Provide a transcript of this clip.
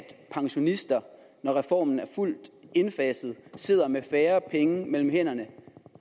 at pensionister når reformen er fuldt indfaset sidder med færre penge mellem hænderne